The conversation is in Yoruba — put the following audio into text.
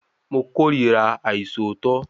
Mo kórira àìṣòótọ́